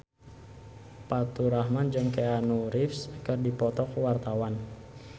Faturrahman jeung Keanu Reeves keur dipoto ku wartawan